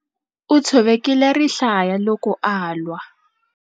U tshovekile rihlaya loko a lwa.